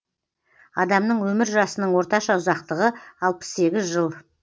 адамның өмір жасының орташа ұзақтығы алпыс сегіз жыл